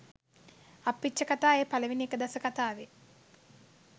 අප්පිච්ඡකථා ඒ පළවෙනි එක දස කථාවේ